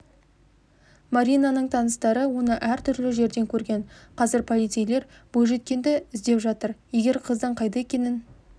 маринаның таныстары оны әр түрлі жерден көрген қазір полицейлер бойжеткенді іздеп жатыр егер қыздың қайда екенін